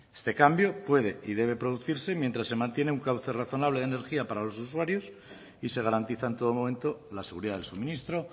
este cambio puede y debe producirse mientras se mantiene un cauce razonable de energía para los usuarios y se garantiza en todo momento la seguridad del suministro